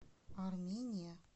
армения